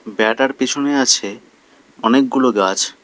বেড়াটার পিছনে আছে অনেকগুলো গাছ।